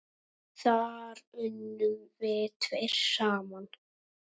Þar unnum við tveir saman.